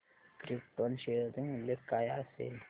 krypton share चे मूल्य काय असेल